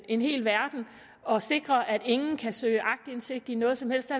en hel verden og sikre at ingen kan søge aktindsigt i noget som helst